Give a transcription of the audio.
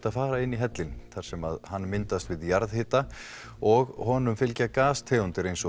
að fara inn í hellinn þar sem hann myndast við jarðhita og honum fylgja gastegundir eins